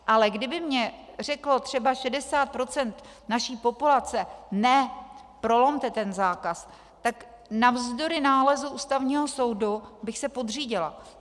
Ale kdyby mně řeklo třeba 60 % naší populace ne, prolomte ten zákaz, tak navzdory nálezu Ústavního soudu bych se podřídila.